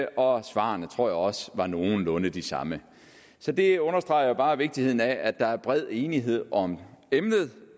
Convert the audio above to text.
og svarene tror jeg også var nogenlunde de samme så det understreger jo bare vigtigheden af at der er bred enighed om emnet